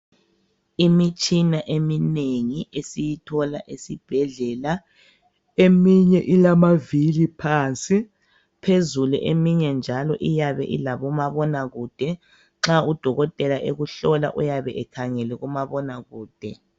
Imitshina eminengi esiyithola esibhedlela eminye ilamavili phansi, phezulu eminye njalo iyabe ilabomabonakude nxa udokotela ekuhlola uyabe ekhangele kumabonakude.